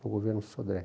para o governo Sodré.